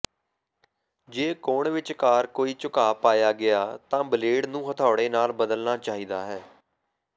ਜੇ ਕੋਣ ਵਿਚਕਾਰ ਕੋਈ ਝੁਕਾਅ ਪਾਇਆ ਗਿਆ ਤਾਂ ਬਲੇਡ ਨੂੰ ਹਥੌੜੇ ਨਾਲ ਬਦਲਣਾ ਚਾਹੀਦਾ ਹੈ